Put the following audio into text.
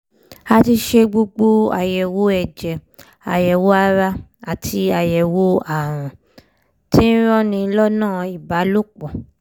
a ti ṣe gbogbo àyẹ̀wò ẹ̀jẹ̀ àyẹ̀wò ara àti àyẹ̀wò àrùn tí ń ranni lọ́nà ìbálòpọ̀